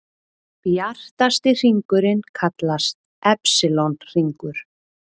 Bjartasti hringurinn kallast Epsilon-hringur.